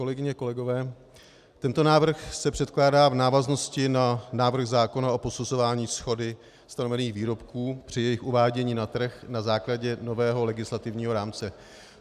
Kolegyně, kolegové, tento návrh se předkládá v návaznosti na návrh zákona o posuzování shody stanovených výrobků při jejich uvádění na trh na základě nového legislativního rámce.